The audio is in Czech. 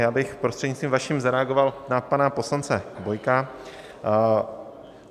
Já bych, prostřednictvím vaším, zareagoval na pana poslance Bojka.